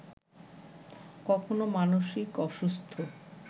কখনো মানসিক অসুস্থ